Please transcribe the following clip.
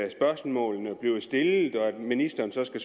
at spørgsmålene bliver stillet og at ministeren så skal